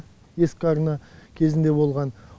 ескі арна кезінде болған